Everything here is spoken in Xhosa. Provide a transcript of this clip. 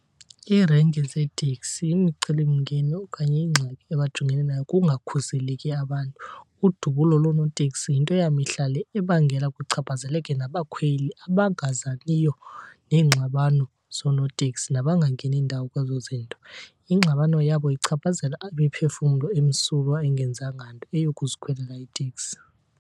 Iirenki zeeteksi imicelimngeni okanye ingxaki abajongene nayo kungakhuseleki abantu. Udubulo loonotekisi yinto yamihla le ebangela kuchaphazeleke nabakhweli abangazaniyo neengxabano zoonotekisi nabangangeni ndawo kwezo zinto. Ingxabano yabo ichaphazela imiphefumlo emsulwa engenzanga nto, eyokuzikhwelela iiteksi.